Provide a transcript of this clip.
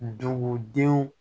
Dugudenw